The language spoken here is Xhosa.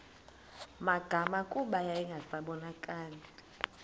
magama kuba yayingasabonakali